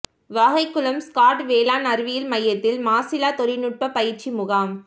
வாகைகுளம் ஸ்காட் வேளாண் அறிவியல் மையத்தில் மாசில்லா தொழில்நுட்ப பயிற்சி முகாம்